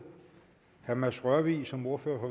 herre mads rørvig som ordfører